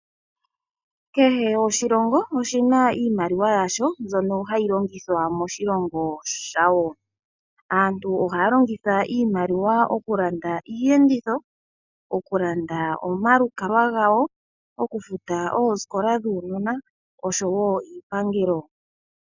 Kehe oshilongo oshina iimaliwa yasho mbyono hayi longithwa moshilongo shayo. Aantu ohaya longitha iimaliwa okulanda iiyenditho, okulanda omalukalwa gawo, okufuta oosikola dhaanona oshowo iipangelo.